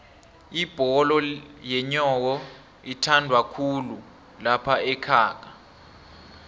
ibholo yenyowo ithandwakhulu laphaekhaga